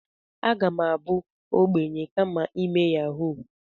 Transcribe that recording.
Aga m abụ ogbenye kama ime yahuu.